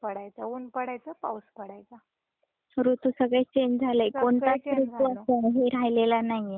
ऋतु सगळे चेंज झालेत - हे राहिलेला नाहीये ठराविक राहील नाहीये